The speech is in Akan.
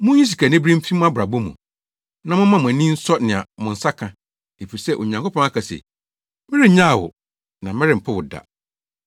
Munyi sikanibere mfi mo abrabɔ mu, na momma mo ani nsɔ nea mo nsa ka. Efisɛ Onyankopɔn aka se, “Merennyaw wo, na merempo wo da.”